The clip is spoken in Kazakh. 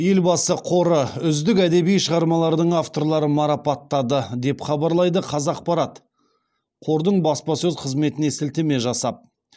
елбасы қоры үздік әдеби шығармалардың авторларын марапаттады деп хабарлайды қазақпарат қордың баспасөз қызметіне сілтеме жасап